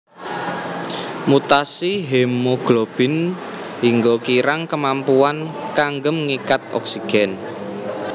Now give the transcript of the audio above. Mutasi hemoglobin hingga kirang kemampuan kanggem ngikat oksigen